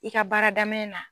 I ka baara daminɛn na.